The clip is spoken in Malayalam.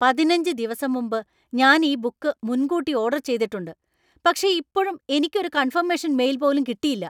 പതിനഞ്ച് ദിവസം മുമ്പ് ഞാൻ ഈ ബുക്ക് മുൻകൂട്ടി ഓർഡർ ചെയ്തിട്ടുണ്ട്, പക്ഷേ ഇപ്പോഴും എനിക്ക് ഒരു കൺഫമേഷൻ മെയിൽ പോലും കിട്ടിയില്ല.